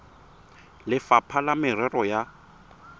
le lefapha la merero ya